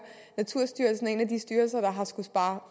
naturstyrelsen er en af de styrelser der har skullet spare